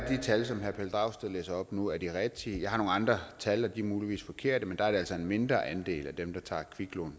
at de tal som herre pelle dragsted læser op nu er de rigtige jeg har nogle andre tal og de er muligvis forkerte men der er altså en mindre andel af dem der tager kviklån